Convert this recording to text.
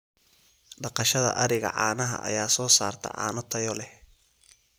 Dhaqashada ariga caanaha ayaa soo saarta caano tayo leh.